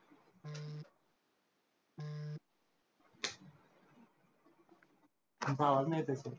तुमचा आवाज नाही येत आहे